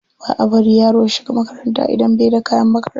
Ba a bari yaro ya shiga makaranta idan bai da kayan makaranta.